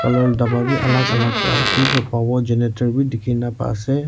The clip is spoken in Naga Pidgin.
colour la daba bi alak alak ka bi pa pawo genetor wi dikhina pa ase.